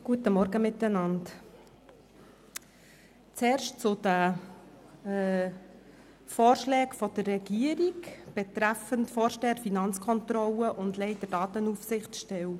Zuerst zu den Vorschlägen der Regierung, die den Vorsteher Finanzkontrolle und den Leiter Datenaufsichtsstelle betreffen.